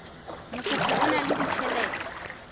mokopi o na le ditjhelete